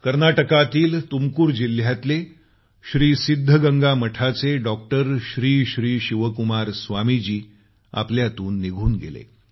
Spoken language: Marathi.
कर्नाटकातील तुमकुर जिल्ह्यातले श्री सिद्धगंगा मठाचे डॉक्टर श्री श्री शिवकुमार स्वामीजी आपल्यातून निघून गेले